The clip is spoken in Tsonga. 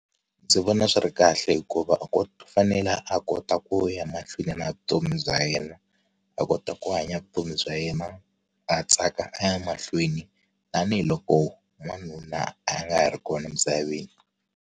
Ndzi vona swi ri kahle hikuva ku fanele a kota ku ya mahlweni na vutomi bya yena a kota ku hanya vutomi bya yena a tsaka a ya mahlweni tanihiloko wanuna a nga ha ri kona emisaveni.